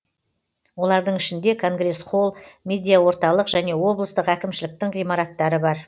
олардың ішінде конгресс холл медиаорталық және облыстық әкімшіліктің ғимараттары бар